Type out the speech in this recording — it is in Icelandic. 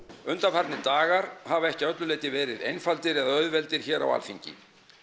undanfarnir dagar hafa ekki að öllu leyti verið einfaldir eða auðveldir hér á Alþingi